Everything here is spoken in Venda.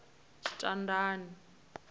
tshitandani